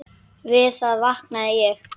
Við það vaknaði ég.